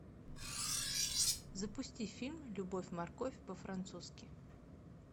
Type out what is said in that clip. запусти фильм любовь морковь по французски